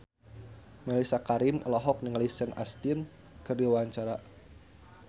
Mellisa Karim olohok ningali Sean Astin keur diwawancara